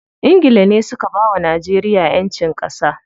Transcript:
Ingila ne suka bawa Najeriya ƴancin ƙasa.